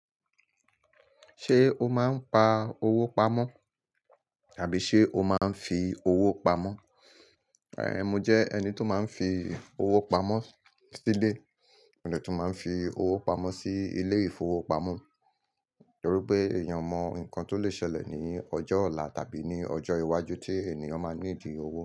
Ṣé o máa ń pa owó pamọ́ tàbí ṣe o máa ń fi owó pamọ́? Ehn, mo jẹ́ ẹni tó máa ń fi owó pamọ́ Mo de tun máa ń fi owó pamọ́ sí ilé-ìfowópamọ́, torí pé èèyàn o mọ nǹkan tó lè ṣẹlẹ̀ ní ọjọ́ ọ̀la tàbí ní ọjọ́ iwájú tí ènìyàn máa need owó.